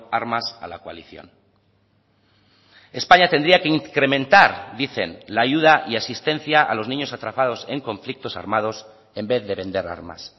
armas a la coalición españa tendría que incrementar dicen la ayuda y asistencia a los niños atrapados en conflictos armados en vez de vender armas